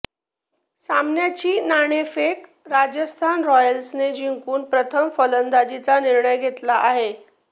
सामन्याची नाणेफेक राजस्थान रॉयल्सने जिंकून प्रथम फलंदाजीचा निर्णय घेतला आहे